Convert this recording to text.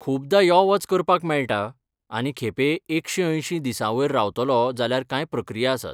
खुबदां यो वच करपाक मेळटा आनी खेपे एकशे अंयशी दिसांवयर रावतलो जाल्यार कांय प्रक्रिया आसात.